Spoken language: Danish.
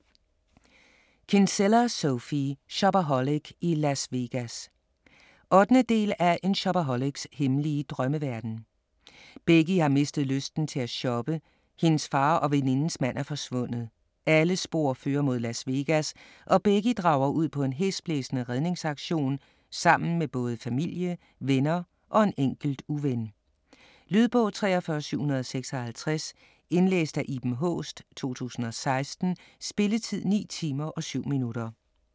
Kinsella, Sophie: Shopaholic i Las Vegas 8. del af En shopaholics hemmelige drømmeverden. Becky har mistet lysten til at shoppe, hendes far og venindens mand er forsvundet. Alle spor fører mod Las Vegas og Becky drager ud på en hæsblæsende redningsaktion sammen med både familie, venner og en enkelt uven. Lydbog 43756 Indlæst af Iben Haaest, 2016. Spilletid: 9 timer, 7 minutter.